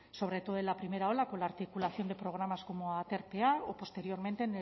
sobre todo en la primera ola con la articulación de programas como aterpea o posteriormente